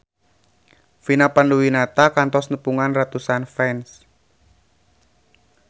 Vina Panduwinata kantos nepungan ratusan fans